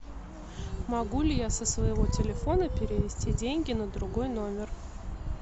могу ли я со своего телефона перевести деньги на другой номер